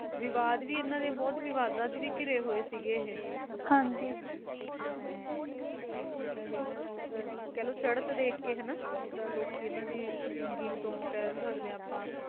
ਇਹ ਬੋਥ ਵਵਾੜਾ ਵਿਚ ਵੀ ਕਿਰਾਏ ਹੋਈ ਸੀ, ਹਨਜੀ, ਜਿੰਦਾ ਕਾਹਲੋਂ ਚਰਤ ਡੇ ਅਕਾਯ ਸਿੰਗਿੰਗ ਤੋਂ ਕਈ ਸਕਦੇ ਹੈ ਆਪ